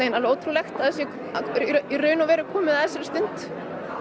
alveg ótrúlegt að það sé komið að þessari stund